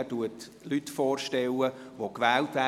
Er stellt Personen vor, die gewählt werden.